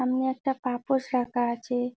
সামনে একটা পাপোশ রাখা আছে।